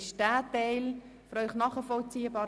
Ist dieser Teil für Sie verständlich?